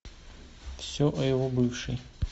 все о его бывшей